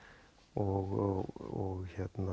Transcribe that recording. og